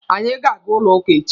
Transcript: Anyị ga-aga ụlọ ụka echi.